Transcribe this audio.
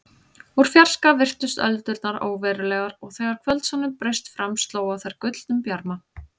Úr fjarska virtust öldurnar óverulegar og þegar kvöldsólin braust fram sló á þær gullnum bjarma.